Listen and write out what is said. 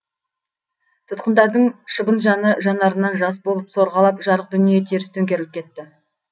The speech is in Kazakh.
тұтқындардың шыбын жаны жанарынан жас болып сорғалап жарық дүние теріс төңкеріліп кетті